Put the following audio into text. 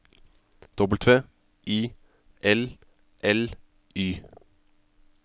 W I L L Y